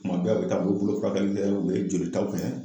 Kuma bɛɛ a be taa bɔ tulo furakɛlikɛyɔrɔ u be jolitaw kɛ